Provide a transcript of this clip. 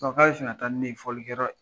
k'ale bi fɛ taa ni ne ye fɔli kɛ yɔrɔ